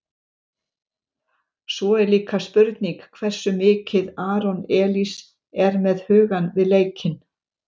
Svo er líka spurning hversu mikið Aron Elís er með hugann við leikinn?